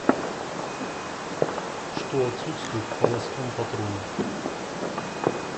что отсутствует в холостом патроне